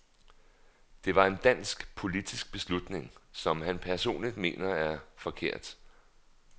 Det var en dansk, politisk beslutning, som han personligt mener var forkert.